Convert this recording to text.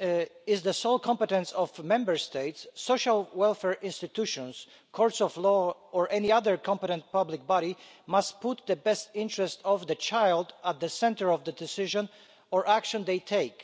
is the sole competence of Member States, social welfare institutions, courts of law or any other competent public body must put the best interest of the child at the centre of the decision or action that they take.